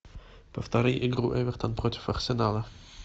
повтори игру эвертон против арсенала